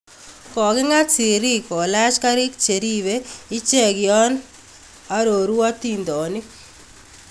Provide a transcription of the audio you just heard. Koking�at sirik kolaach kariik cheribe ichek yaaan aroru atintooniik